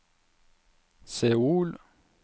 Seoul